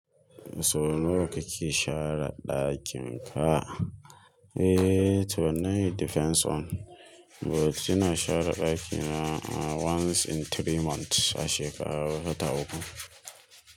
Sau nawa kake share ɗakin ka? Eee to wannan it depends on but ina share ɗakina once in three months, a shekara a wata uku.